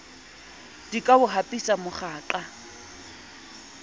di ka o hapisa moqhaka